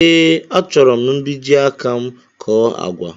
Ee, a chọrọ mbiji áká m kọ́ọ́ àgwà